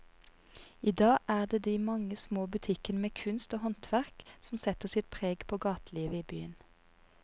I dag er det de mange små butikkene med kunst og håndverk som setter sitt preg på gatelivet i byen.